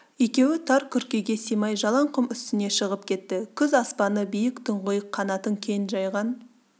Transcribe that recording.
екеуі тар күркеге сыймай жалаң құм үстіне шығып кетті күз аспаны биік тұңғиық қанатын кең жайған